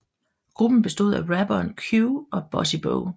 Gruppen bestod af rapperne Q og Bossy Bo